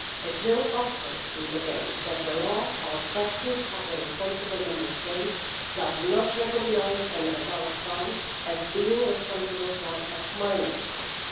It will often be the case that the law or practice of the responsible Member State does not recognise an adult spouse as being responsible for a minor spouse.